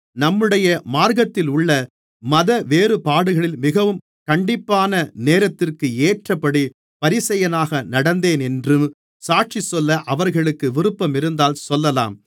நம்முடைய மார்க்கத்திலுள்ள மதவேறுபாடுகளில் மிகவும் கண்டிப்பான நேரத்திற்கு ஏற்றபடி பரிசேயனாக நடந்தேனென்று சாட்சிசொல்ல அவர்களுக்கு விருப்பமிருந்தால் சொல்லலாம்